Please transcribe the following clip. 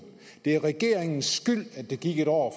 det er regeringens skyld at der gik et år